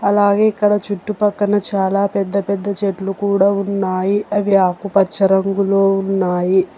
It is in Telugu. అలాగే ఇక్కడ చుట్టుపక్కన చాలా పెద్ద పెద్ద చెట్లు కూడా ఉన్నాయి. అవి ఆకుపచ్చ రంగులో ఉన్నాయి.